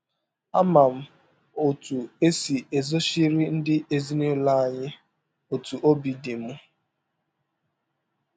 Ama m ọtụ esi ezọchiri ndị ezinụlọ anyị ọtụ ọbi dị m.